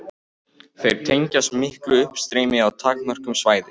Þeir tengjast miklu uppstreymi á takmörkuðu svæði.